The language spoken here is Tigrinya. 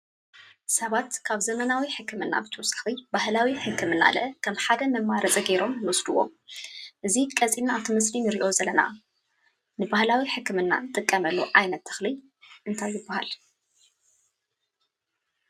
ሰባት ካብ ዘመናዊ ሕክምና ብተወሳኺ ባህላዊ ሕክምናለ ከም ሓደ መማረፂ ጌሮም ይወስድዎ፡፡ እዚ ቀፂለና ኣብቲ ምስሊ ንሪኦ ዘለና ንባህላዊ ሕክምና ንጥቀመሉ ዓይነት ተኽሊ እንታይ ይባሃል?